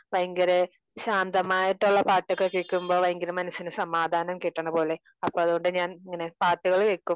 ഭയങ്കര ശാന്തമായിട്ടുള്ള പാട്ടൊക്കെ കേൾക്കുമ്പോ ഭയങ്കര മനസിന് സമാധാനം കിട്ടണ പോലെ. അപ്പൊ അത്കൊണ്ട് ഞാൻ ഇങ്ങനെ പാട്ടുകൾ വെക്കും